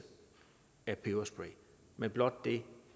af peberspray men blot det